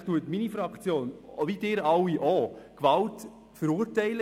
Selbstverständlich verurteilt meine Fraktion die Anwendung von Gewalt, wie Sie alle auch.